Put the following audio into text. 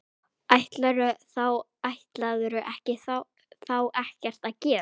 Ætlarðu þá ekkert að gera?